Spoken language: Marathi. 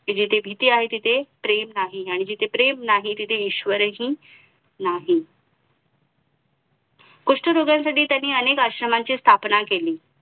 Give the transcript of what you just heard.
कि जेथे भीती आहे तिथे प्रेम नाही आणि प्रेम नाही तिथे ईश्वर हि नाही कुष्ठरोग्यांसाठी त्याने अनेक आश्रमांची स्थापना केली